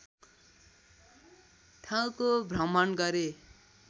ठाउँको भ्रमण गरे